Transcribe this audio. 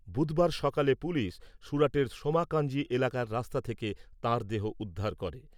বুধবার সকালে পুলিশ, সুরাটের সোমাকাঞ্জি এলাকার রাস্তা থেকে তাঁর দেহ উদ্ধার করে।